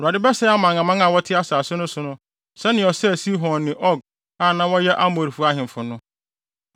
Awurade bɛsɛe aman aman a wɔte asase no so no sɛnea ɔsɛee Sihon ne Og a na wɔyɛ Amorifo ahemfo no.